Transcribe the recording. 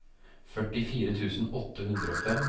førtifire tusen åtte hundre og fem